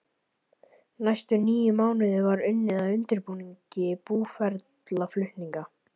Næstu níu mánuði var unnið að undirbúningi búferlaflutninga.